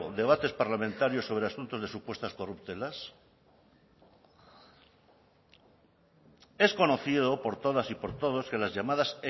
debates parlamentarios sobre asuntos de supuestas corruptelas es conocido por todas y por todos que las llamadas